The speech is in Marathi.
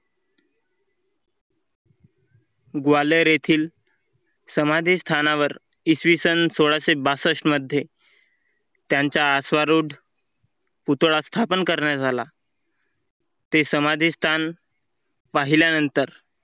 ग्वालेर येथील समाधी स्थानावर इसवी सन सोळाशेबासष्ठ मध्ये त्यांच्या अश्वारूढ पुतळा स्थापन करण्यात आला. ते समाधी स्थान पाहिल्यानंतर